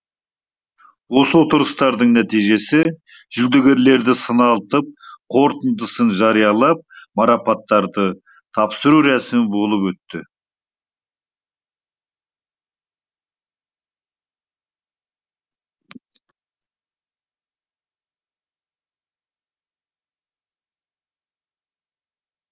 осы отырыстардың нәтижесі жүлдегерлерді сыналтып қорытындысын жариялап марапаттарды тапсыру рәсімі болып өтті